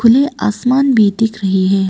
खुले आसमान भी दिख रही है।